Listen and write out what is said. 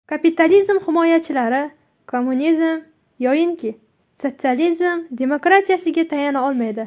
Kapitalizm himoyachilari kommunizm yoinki sotsializm demokratiyasiga tayana olmaydi.